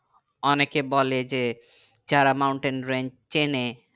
অনেকে বলে যে যারা মাউন্টেনরেঞ্জে চেনে